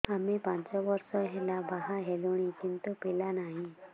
ଆମେ ପାଞ୍ଚ ବର୍ଷ ହେଲା ବାହା ହେଲୁଣି କିନ୍ତୁ ପିଲା ନାହିଁ